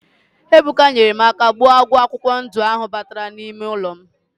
Ebuka nyere m aka gbuo agwọ akwụkwọ ndụ ahụ batara n'ime ụlọ m